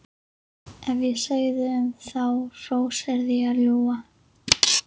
Ef ég segði um þá hrós yrði ég að ljúga.